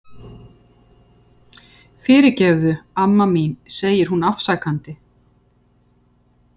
Fyrirgefðu, amma mín, segir hún afsakandi.